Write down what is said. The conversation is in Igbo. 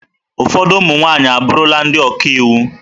Ụfọdụ ụmụ nwaanyị abụrụla ndị ọka iwu.